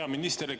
Hea minister!